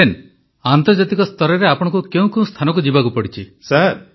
captain ଆନ୍ତର୍ଜାତିକ ସ୍ତରରେ ଆପଣଙ୍କୁ କେଉଁ କେଉଁ ସ୍ଥାନକୁ ଯିବାକୁ ପଡ଼ିଲା